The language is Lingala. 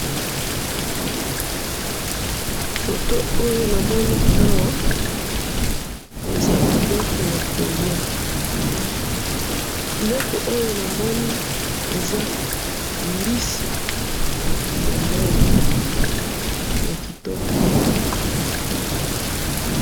photo oyo na moni awa eza biliko yako lia biloko oyo na moni eza mbisi ya mayi ya kitoko